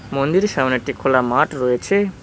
মন্দিরের সামনে একটি খোলা মাঠ রয়েছে।